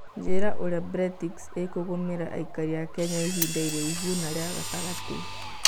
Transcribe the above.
njĩira ũrĩa bretix ĩkũngũmira aĩkari a Kenya ĩhinda rũraihu na rĩa gatangatĩ